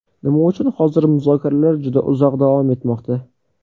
Nima uchun hozir muzokaralar juda uzoq davom etmoqda?